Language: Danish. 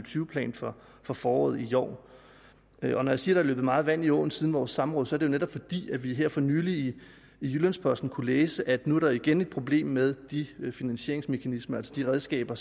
plan fra foråret i år når jeg siger der er løbet meget vand i åen siden vores samråd er det jo netop fordi vi her for nylig i jyllands posten kunne læse at der nu igen er et problem med de finansieringsmekanismer altså de redskaber